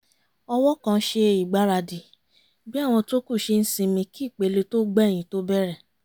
ọ̀wọ́ kan ṣe ìgbaradì bí àwọn tó kù ṣe ń sinmi kí ìpele tó gbẹ̀yìn tó bẹ̀rẹ̀